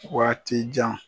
waati jan